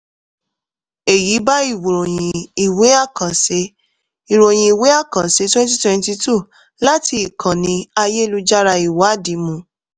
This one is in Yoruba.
èyí bá ìròyìn ìwé àkànṣe ìròyìn ìwé àkànṣe twenty twenty two láti ìkànnì ayélujára ìwádìí mu.